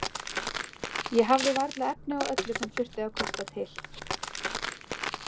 Ég hafði varla efni á öllu sem þurfti að kosta til.